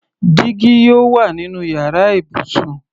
Dígí yóò wà nínú yàrá ibùsùn.